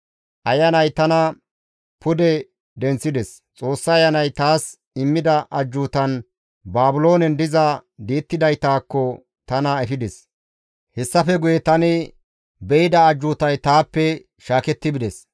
Ayanay tana pude denththides; Xoossa Ayanay taas immida ajjuutan Baabiloonen diza di7ettidaytakko tana efides. Hessafe guye tani be7ida ajjuutay taappe shaaketti bides.